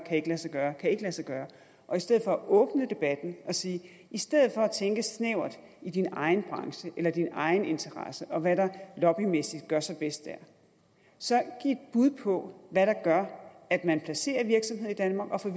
kan lade sig gøre og i stedet for åbne debatten og sige i stedet for at tænke snævert i din egen branche eller i din egen interesse og hvad der lobbymæssigt gør sig bedst der så giv et bud på hvad der gør at man placerer virksomheder i danmark og får